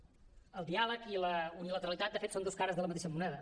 el diàleg i la unilateralitat de fet són dos cares de la mateixa moneda